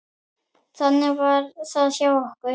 Þannig var það hjá okkur.